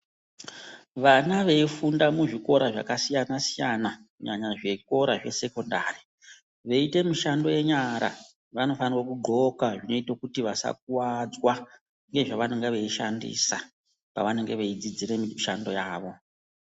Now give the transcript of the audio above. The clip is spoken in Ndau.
Vana veifunda muzvikora zvakasiyana siyana, kana zvikora zvesekondari, veite mushando yenyara vanofanira kudxoka zvinoita kuti vasakuwadzwa ngezvavanenge veishandisa pavanenge veidzidzira mushando yavo.